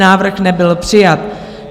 Návrh nebyl přijat.